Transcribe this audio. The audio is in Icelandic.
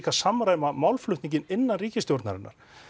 samræma málflutninginn innan ríkisstjórnarinnar